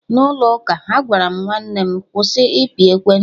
n'ụlọ ụka, Agwaram nwanne m "kwụsị ịpị ekwentị"